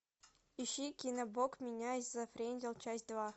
ищи кино бог меня зафрендил часть два